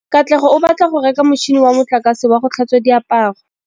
Katlego o batla go reka motšhine wa motlakase wa go tlhatswa diaparo.